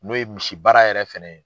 N'o ye misi baara yɛrɛ fɛnɛ ye.